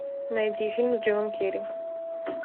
найди фильм с джимом керри